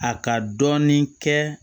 A ka dɔɔnin kɛ